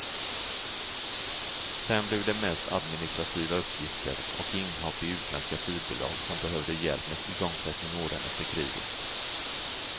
Sen blev det mest administrativa uppgifter och inhopp i utländska flygbolag som behövde hjälp med igångsättning åren efter kriget.